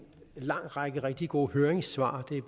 lang række rigtig gode høringssvar det er